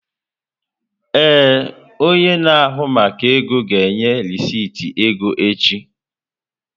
Ee, onye na-ahụ maka ego ga-enye rịsịtị ego echi.